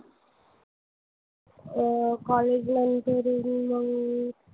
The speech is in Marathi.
अह college नंतर मग,